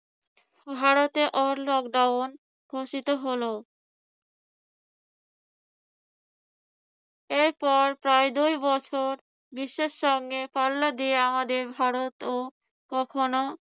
ভারতে all lockdown ঘোষিত হলো। এরপর প্রায় দুই বছর বিশ্বের সঙ্গে পাল্লা দিয়ে আমাদের ভারতও কখনো